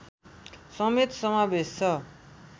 समेत समावेश छ